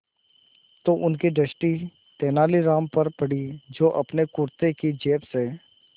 तो उनकी दृष्टि तेनालीराम पर पड़ी जो अपने कुर्ते की जेब से